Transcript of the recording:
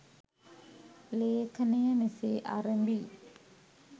ලේඛනය මෙසේ ඇරඹී